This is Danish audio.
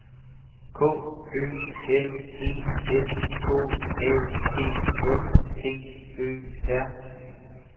K Ø L E S K A B S D Ø R